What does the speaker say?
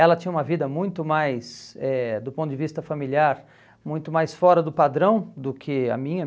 Ela tinha uma vida muito mais, eh do ponto de vista familiar, muito mais fora do padrão do que a minha.